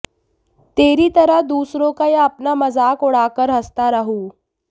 तेरी तरह दूसरों का या अपना मजाक उड़ा कर हंसता रहूं